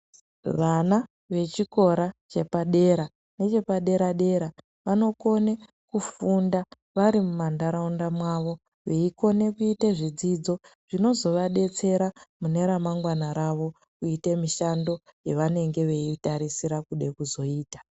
Vana vechikora chepadera nechepadera dera vanokone kufunda vari mumantaraunda mwavo veikone kuite zvidzidzo zvinozowadetsera mune ramangwana ravo kuite mishando yewanenge weitarisira kude kuzoita.